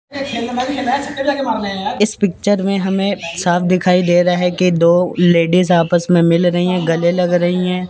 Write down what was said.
इस पिक्चर में हमें साफ़ दिखाई दे रहा हैं कि दो लेडिज आपस में मिल रहीं हैं गले लग रहीं हैं।